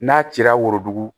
N'a cira worodugu